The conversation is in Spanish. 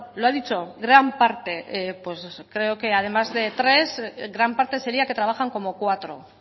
lo ha dicho gran parte creo que además de tres gran parte seria que trabajan como cuatro